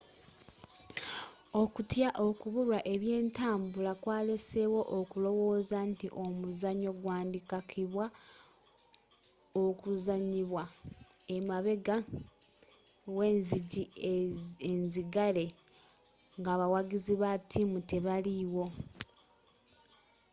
okutya okubulwa ebyentambula kwaleesewo okulowooza nti omuzannyo gwandikakibwa okuzanyibwa emabega w'enzigi enzigale ng'abawagizi ba ttiimu tebaliwo